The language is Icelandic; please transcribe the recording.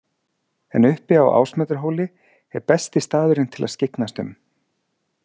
En uppi á Ásmundarhóli er besti staðurinn til að skyggnast um.